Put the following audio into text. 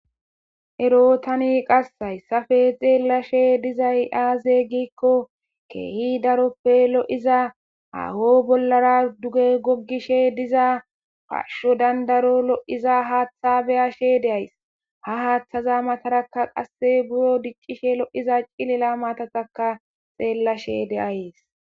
Ero tani qassay safe xeellashe dizay aaze gikko keehi daroppe lo'iza aaho bollara duge gogishe diza pasho dandaro lo'iza haaththa beyashe deays ha haaththaza matarakka qasse buro diccishe lo'iza cilila matataka xeellashe deayyes